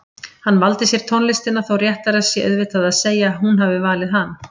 Hann valdi sér tónlistina þó réttara sé auðvitað að segja að hún hafi valið hann.